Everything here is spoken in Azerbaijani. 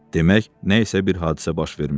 demək nə isə bir hadisə baş vermişdi.